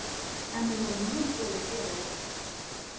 En við vorum mjög góðir félagar.